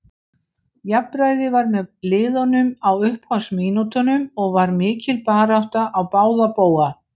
Jafnræði var með liðunum á upphafsmínútunum og var mikil barátta á báða bóga.